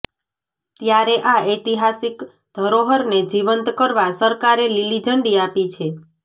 ત્યારે આ ઐતિહાસિક ધરોહરને જીવંત કરવા સરકારે લીલીઝંડી આપી છે